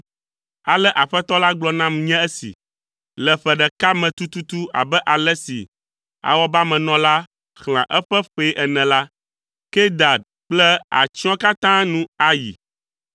Ale Aƒetɔ la gblɔ nam nye esi, “Le ƒe ɖeka me tututu abe ale si awɔbamenɔla xlẽa eƒe ƒee ene la, Kedar ƒe atsyɔ̃ katã nu ayi.